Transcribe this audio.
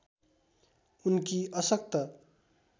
उनकी अशक्त